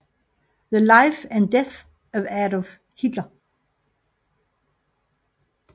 The Life and Death of Adolf Hitler